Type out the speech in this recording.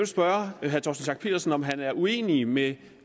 spørge herre torsten schack pedersen om han er uenig med